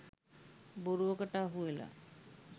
බොරුවකට අසුවෙලා